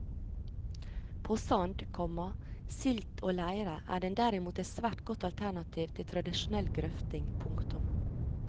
På sand, komma silt og leire er den derimot et svært godt alternativ til tradisjonell grøfting. punktum